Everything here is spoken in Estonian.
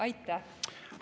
Aitäh!